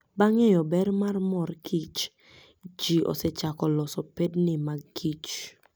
Bang' ng'eyo ber mar mor kich ji osechako loso pedni mag kich